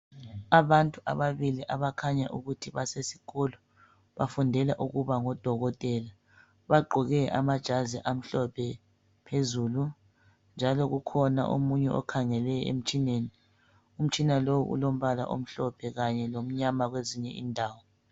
Abantu ababili abakhanya ukuthi basesikolo bafundela ukuba ngoba. Bagqoke amajazi amhlophe phezulu, njalo kukhona omunye okhangele emtshineni. Umtshina lo olombala omhlophe kanye lomnyama kwezinye indawo.